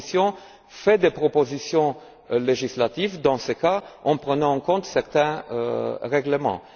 La Commission fait des propositions législatives dans ce cas, en prenant en compte certains règlements.